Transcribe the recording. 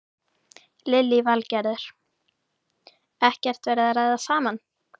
Lillý Valgerður: Ekkert verið að ræða saman?